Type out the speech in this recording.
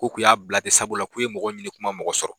Ko k'u y'a bila tɛ sabula k'u ye mɔgɔw ɲini kuma mɔgɔ sɔrɔ.